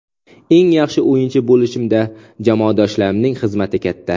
Eng yaxshi o‘yinchi bo‘lishimda jamoadoshlarimning xizmati katta.